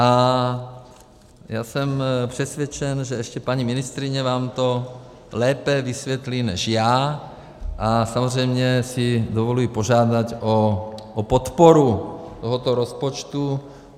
A já jsem přesvědčen, že ještě paní ministryně vám to lépe vysvětlí než já, a samozřejmě si dovoluji požádat o podporu tohoto rozpočtu.